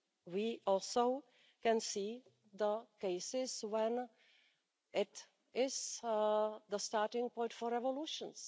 We also can see the cases when it is the starting point for revolutions.